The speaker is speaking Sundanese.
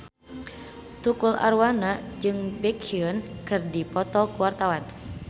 Tukul Arwana jeung Baekhyun keur dipoto ku wartawan